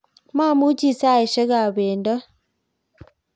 mamuchi saisiekab bendot